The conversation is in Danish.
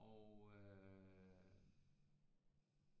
Og øh